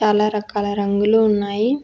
చాలా రకాల రంగులు ఉన్నాయి.